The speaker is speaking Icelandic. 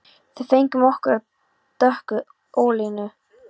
Við fengum okkur af dökku ölinu.